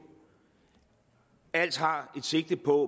alt har et sigte på